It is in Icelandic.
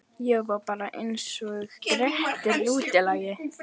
Ég var bara einsog Grettir útlagi.